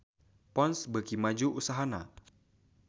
Ponds beuki maju usahana